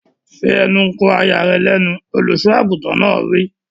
Fi ẹnu kò aya rẹ lẹ́nu! Olùsọ àgùntàn náà wí.